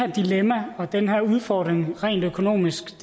dilemma og den udfordring rent økonomisk